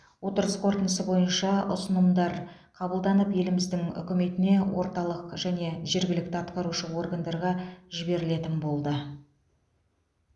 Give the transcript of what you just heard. отырыс қорытындысы бойынша ұсынымдар қабылданып еліміздің үкіметіне орталық және жергілікті атқарушы органдарға жіберілетін болды